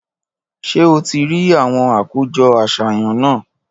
Ṣé o ti rí àwọn àkójọ àṣàyàn náà?